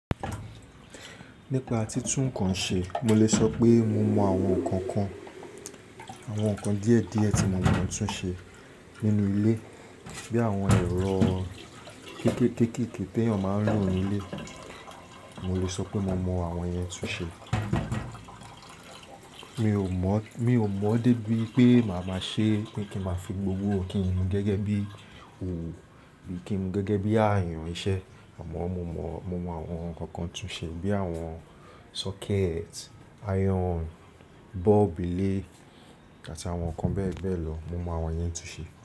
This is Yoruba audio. Nípa títún nǹkan ṣe, mo lè sọ pé mo mọ àwọn nǹkan kan, àwọn nǹkan díẹ̀ díẹ̀ tí mo mo tún ṣe nínú ilé bí àwọn ẹ̀rọ kéékèè kéékèèké tẹ́yàn máa ń lò nínú ilé, mo lè sọ pé mo mọ àwọn yẹn tún ṣe. Mi ò mọ̀, mi ò mọ̀ débi pé màá máa ṣe pé kí máa fi gbowó kí n mú gẹ́gẹ́ bí òwú, kí n mú gẹ́gẹ́ bí àyàn iṣẹ́ àmọ́ mo mọ̀, mo mọ àwọn nǹkan kan tún ṣe bí àwọn socket, iron, bulb ilé àti àwọn nǹkan bẹ́ẹ̀ bẹ́ẹ̀ lọ mo mọ àwọn yẹn tún ṣe.